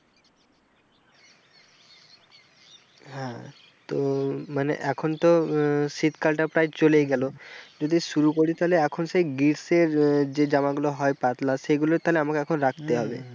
হ্যাঁ তো মানে এখন তো আহ শীতকালটা প্রায় চলেই গেল যদি শুরু করি তাহলে এখন সে গ্রীষ্মের যে জামা গুলো হয় পাতলা সেগুলো তাহলে আমাকে এখন রাখতে হবে।